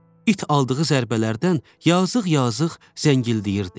İt aldığı zərbələrdən yazıq-yazıq zəngildəyirdi.